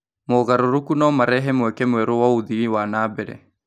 Mogarũrũku no marehe mweke mwerũ wa ũthii wa na mbere.